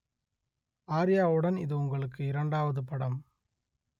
ஆர்யாவுடன் இது உங்களுக்கு இரண்டாவது படம்